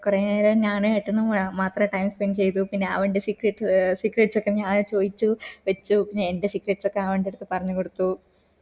കൊറേ നേരം ഞാന് ഏട്ടനു മാത്ര time spend പിന്നെ അവൻറെ സെക് secrets ഒക്കെ ഞാൻ ചോയ്ച്ചു വച്ചു പിന്നെ എന്റെ secrets ഒക്കെ ഞാൻ അവൻറെ അട്ത്ത് പറഞ്ഞ് കൊടുത്തു